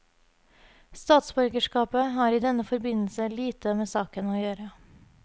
Statsborgerskapet har i denne forbindelse lite med saken å gjøre.